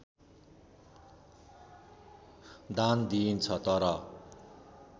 दान दिइन्छ तर